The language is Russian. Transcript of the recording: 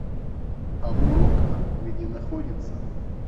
амурокна где находится